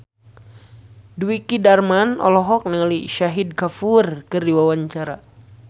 Dwiki Darmawan olohok ningali Shahid Kapoor keur diwawancara